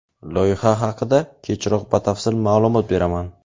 Loyiha haqida kechroq batafsil ma’lumot beraman.